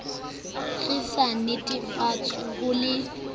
re sa natefetswe ho le